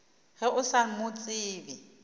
ge o sa mo tsebe